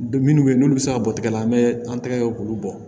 Minnu bɛ yen n'olu bɛ se ka bɔ tigɛ la an bɛ an tɛgɛw k'olu bɔ